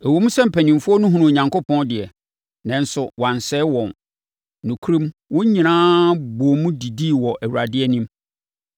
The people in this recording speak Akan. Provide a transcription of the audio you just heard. Ɛwom sɛ mpanimfoɔ no hunuu Onyankopɔn deɛ, nanso wansɛe wɔn. Nokorɛm, wɔn nyinaa bɔɔ mu didii wɔ Awurade anim.